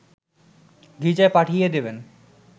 গির্জায় পাঠিয়ে দেবেন